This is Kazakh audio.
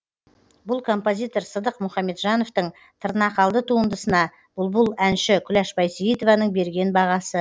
бұл композитор сыдық мұхамеджановтың тырнақалды туындысына бұлбұл әнші күләш байсейітованың берген бағасы